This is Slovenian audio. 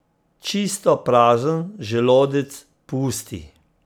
Čisto prazen želodec pusti.